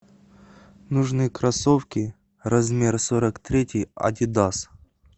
нужны кроссовки размер сорок третий адидас